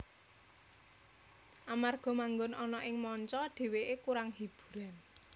Amarga manggon ana ing manca dhewekè kurang hiburan